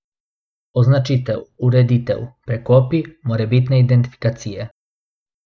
Označitev, ureditev, prekopi, morebitne identifikacije.